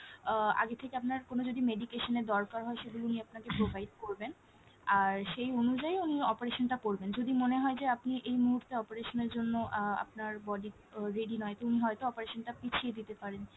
আহ আগে থেকে আপনার কোনো যদি medication এর দরকার হয় সেগুলো উনি আপনাকে provide করবেন, আর সেই অনুযায়ী উনি operation টা করবেন। যদি মনে হয় যে আপনি এই মুহূর্তে operation এর জন্য আহ আপনার body আহ ready নয় তো উনি হয়তো operation টা পিছিয়ে দিতে পারেন,